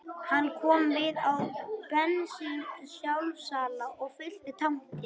Hann kom við á bensínsjálfsala og fyllti tankinn